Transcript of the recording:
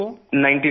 90 lakh